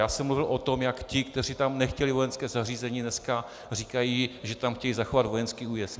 Já jsem mluvil o tom, jak ti, kteří tam nechtěli vojenské zařízení, dnes říkají, že tam chtějí zachovat vojenský újezd.